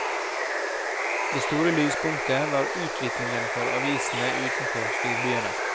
Det store lyspunktet var utviklingen for avisene utenfor storbyene.